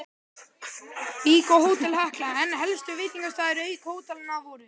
Vík og Hótel Hekla, en helstu veitingastaðir auk hótelanna voru